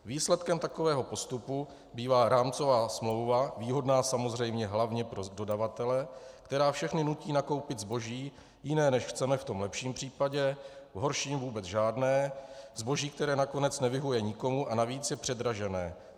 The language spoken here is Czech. Výsledkem takového postupu bývá rámcová smlouva, výhodná samozřejmě hlavně pro dodavatele, která všechny nutí nakoupit zboží jiné, než chceme - v tom lepším případě, v horším vůbec žádné, zboží, které nakonec nevyhovuje nikomu a navíc je předražené.